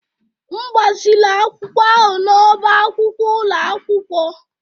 M gbaziri akwụkwọ ahụ n'ọ́bá akwụkwọ ụlọ akwụkwọ